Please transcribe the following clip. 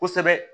Kosɛbɛ